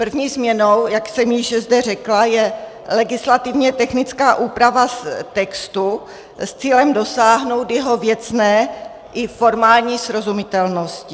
První změnou, jak jsem již zde řekla, je legislativně technická úprava textu s cílem dosáhnout jeho věcné i formální srozumitelnosti.